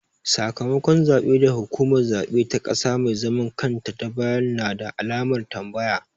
Sakamakon zaɓe da hukumar zaɓe ta ƙasa mai zaman kanta ta bayar na da alamar tambaya.